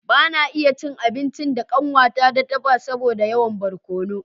Ban iya na ci abincin da kanwata ta dafa ba saboda yawan barkono